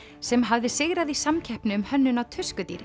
sem hafði sigrað í samkeppni um hönnun á